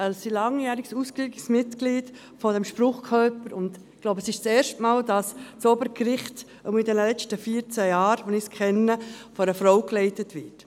Sie ist ein langjähriges, ausgewiesenes Mitglied dieses Spruchkörpers, und ich glaube, es ist das erste Mal, dass das Obergericht von einer Frau geleitet wird, jedenfalls in den letzten vierzehn Jahren, wo ich es kenne.